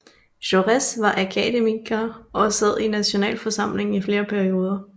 Jaurès var akademiker og sad i nationalforsamlingen i flere perioder